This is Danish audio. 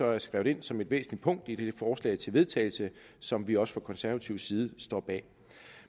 er skrevet ind som et væsentligt punkt i det forslag til vedtagelse som vi også fra konservatives side står bag